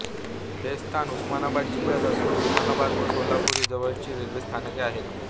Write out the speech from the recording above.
हे स्थान उस्मानाबाद जिल्ह्यात असून उस्मानाबाद व सोलापूर ही जवळची रेल्वे स्थानके आहेत